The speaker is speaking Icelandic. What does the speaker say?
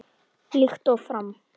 Líkt og fram